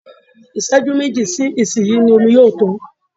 Ìṣẹ́jú méjì sí ìsin yìí ni omi yóò tán